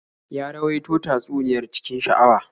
Ya rawaito tatsuniyar cikin sha'awa.